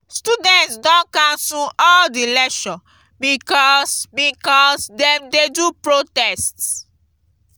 students don cancel all di lecture because because dem dey do protest.